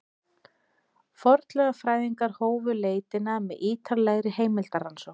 Fornleifafræðingarnir hófu leitina með ýtarlegri heimildarannsókn.